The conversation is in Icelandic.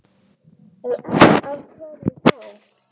Ef ekki, af hverju þá?